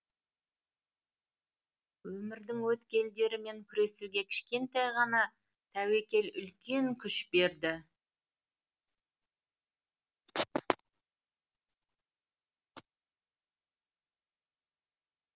өмірдің өткелдерімен күресуге кішкентай ғана тәуекел үлкен күш берді